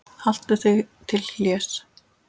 Haltu þig til hlés.